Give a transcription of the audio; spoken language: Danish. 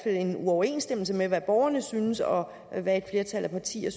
en uoverensstemmelse mellem hvad borgerne synes og hvad et flertal af partier